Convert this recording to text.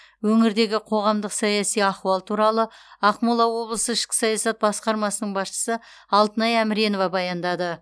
өңірдегі қоғамдық саяси ахуал туралы ақмола облысы ішкі саясат басқармасының басшысы алтынай әміренова баяндады